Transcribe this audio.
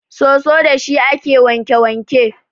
Soso dashi ake wanke wanke.